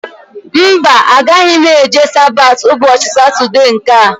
Mba, agaghị eje Sabati ụbọchị Satọdee nkea